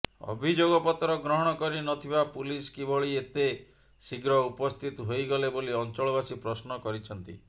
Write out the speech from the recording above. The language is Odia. ଅଭିଯୋଗପତ୍ର ଗ୍ରହଣ କରି ନଥିବା ପୁଲିସ୍ କିଭଳି ଏତେ ଶୀଘ୍ର ଉପସ୍ଥିତ ହୋଇଗଲେ ବୋଲି ଅଞ୍ଚଳବାସୀ ପଶ୍ନ କରିଛନ୍ତି